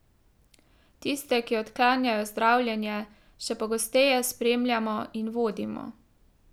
Tiste, ki odklanjajo zdravljenje, še pogosteje spremljamo in vodimo.